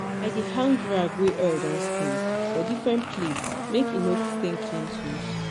i dey hang rag wey oil don stain for different place make e no stain clean tools.